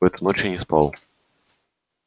в эту ночь я не спал